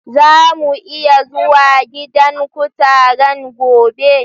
Za mu iya zuwa gidan kutaren gobe?